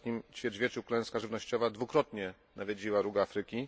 W ostatnim ćwierćwieczu klęska żywnościowa dwukrotnie nawiedziła Róg Afryki.